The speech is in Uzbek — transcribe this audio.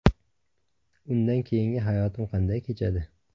Undan keyingi hayotim qanday kechadi?